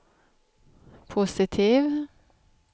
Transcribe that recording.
positiv